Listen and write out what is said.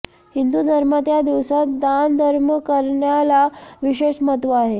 हिंदू धर्मात या दिवसात दानधर्म करण्याला विशेष महत्व आहे